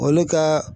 Olu ka